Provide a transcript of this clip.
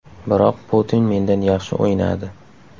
Biroq Putin mendan yaxshi o‘ynadi.